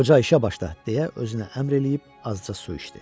Qoca işə başla deyə özünə əmr eləyib azca su içdi.